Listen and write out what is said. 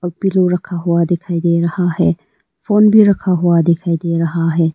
एक पिलो रखा हुआ दिखाई दे रहा है फोन भी रखा हुआ दिखाई दे रहा है।